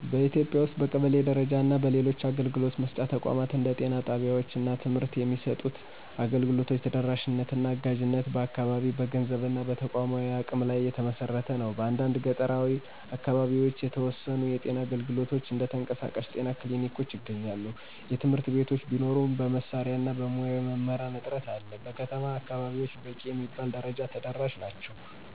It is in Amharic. በኢትዮጵያ ውስጥ በቀበሌ ደረጃ እና በሌሎች አገልግሎት መስጫ ተቋማት እንደ ጤና ጣቢያወች እና ትምህርት የሚሰጡት አገልግሎቶች ተደራሽነት እና አጋዥነት በአካባቢ፣ በገንዘብ እና በተቋማዊ አቅም ላይ የተመሰረተ ነው። በአንዳንድ ገጠራዊ አካባቢዎች የተወሰኑ የጤና አገልግሎቶች (እንደ የተንቀሳቃሽ ጤና ክሊኒኮች) ይገኛሉ። የትምህርት ቤቶች ቢኖሩም በመሳሪያ እና በሙያዊ መምህራን እጥረት አለ። በከተማ አከባቢወች በቂ በሚባል ደረጃ ተደራሽ ናቸው።